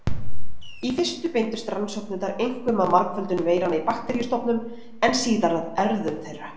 Í fyrstu beindust rannsóknirnar einkum að margföldun veiranna í bakteríustofnum en síðar að erfðum þeirra.